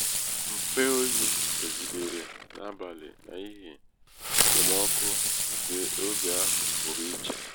mfe oyi fegidere n'abalị n'ihi n'ihi okpomọkụ nke oge ahụ pụrụ ichè.